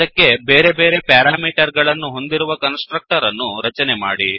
ಅದಕ್ಕೆ ಬೇರೆ ಬೇರೆ ಪ್ಯಾರಾಮೀಟರ್ ಗಳನ್ನು ಹೊಂದಿರುವ ಕನ್ಸ್ ಟ್ರಕ್ಟರ್ ಅನ್ನು ರಚನೆ ಮಾಡಿ